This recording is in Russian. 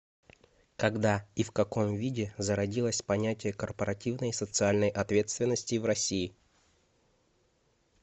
когда и в каком виде зародилось понятие корпоративной социальной ответственности в россии